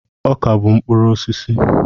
Ọka bụ mkpụrụ osisi.